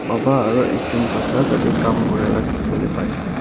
Baba aro ekjun bacha tate kam kuri la dekhiwole pai ase.